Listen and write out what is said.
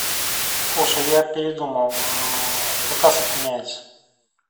слушай я передумал заказ отменяется